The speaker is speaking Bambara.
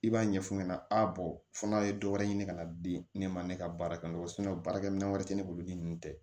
I b'a ɲɛfu ɲɛna a fɔ n'a ye dɔ wɛrɛ ɲini ka na di ne ma ne ka baara kɛ n kɔ baarakɛminɛn wɛrɛ tɛ ne bolo ni nunnu tɛ